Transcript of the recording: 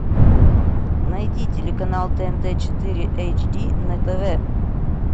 найди телеканал тнт четыре эйч ди на тв